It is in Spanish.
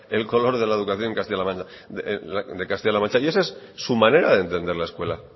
el color de la educación en castilla la mancha y esa es su manera de entender la escuela